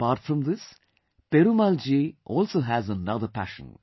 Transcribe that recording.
Apart from this, Perumal Ji also has another passion